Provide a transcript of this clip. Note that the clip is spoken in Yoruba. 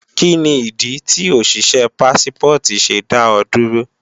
Kíni ìdí tí òṣìṣé Pássípọ̀tì ṣe dá ọ dúró?